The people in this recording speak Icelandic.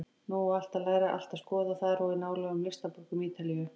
Nú á allt að læra, allt að skoða, þar og í nálægum listaborgum Ítalíu.